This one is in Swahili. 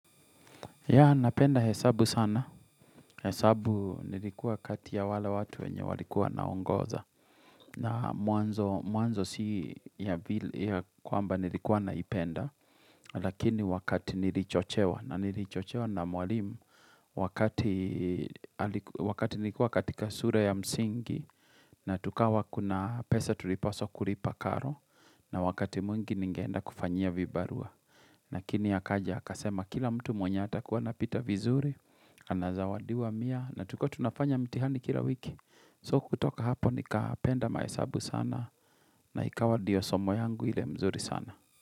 Yea, napenda hesabu sana. Hesabu nilikuwa kati ya wale watu wenye walikuwa wanaongoza. Na mwanzo si ya kwamba nilikuwa naipenda. Lakini wakati nilichochewa. Na nilichochewa na mwalimu. Wakati Wakati nilikuwa katika sure ya msingi. Na tukawa kuna pesa tulipaswa kulipa karo. Na wakati mwingi ningeenda kufanyia vibarua. Lakini akaja akasema kila mtu mweny hatakuwa anapita vizuri. Anazawadiwa mia na tulikuwa tunafanya mtihani kila wiki. So kutoka hapo nikapenda mahesabu sana na ikawa ndio somo yangu ile mzuri sana.